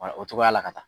o cogoya la ka taa